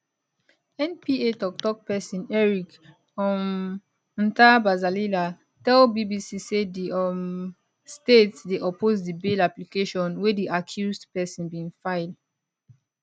npa toktok pesin eric um ntabazalila tell bbc say di um state dey oppose di bail application wey di accused pesin bin file